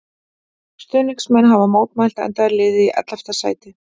Stuðningsmenn hafa mótmælt enda er liðið í ellefta sæti.